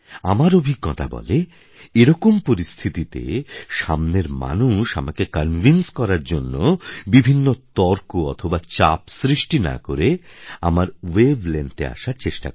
আমার অভিঞ্জতা বলে এরকম পরিস্থিতিতে সামনের মানুষ আমাকে কনভিন্স করার জন্য বিভিন্ন তর্ক অথবা চাপ সৃস্টি না করে আমার ওয়েভ লেংথ এ আসার চেষ্টা করে